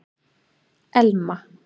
Elma